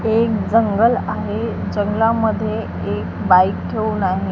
एक जंगल आहे. जंगलामध्ये एक बाईक ठेवून आहे.